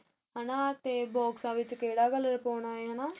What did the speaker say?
ਹੈਣਾ ਤੇ ਬੋਕ੍ਸਾ ਵਿੱਚ ਕਿਹੜਾ colour ਪਾਉਣਾ ਏ ਹੈਨਾ